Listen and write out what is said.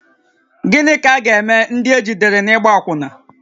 Gịnị ka a ga-eme ndị ejidere n’ịgba akwụna?